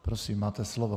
Prosím, máte slovo.